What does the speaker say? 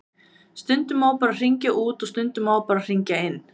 Stundum má bara hringja út og stundum má bara hringja inn.